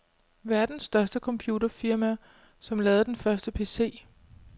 Verdens største computerfirma, som lavede den første pc.